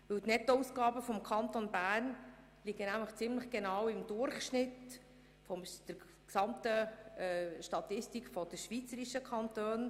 Die Nettoausgaben des Kantons Bern liegen ziemlich genau im Durchschnitt der Statistik der schweizerischen Kantone.